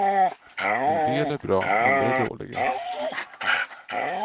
En del är bra, andra är dåliga.